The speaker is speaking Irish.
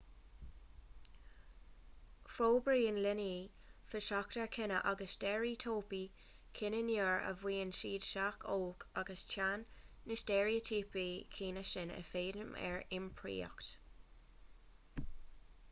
forbraíonn leanaí feasacht ar chine agus ar steiréitíopaí cine nuair a bhíonn siad sách óg agus téann na steiréitíopaí cine sin i bhfeidhm ar iompraíocht